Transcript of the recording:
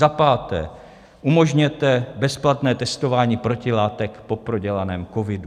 Za páté, umožněte bezplatné testování protilátek po prodělaném covidu.